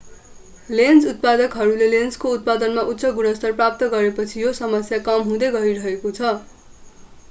lens उत्पादकहरूले लेन्सको उत्पादनमा उच्च गुणस्तर प्राप्त गरेपछि यो समस्या कम हुँदै गइरहेको छ